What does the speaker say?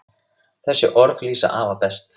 Þessi orð lýsa afa best.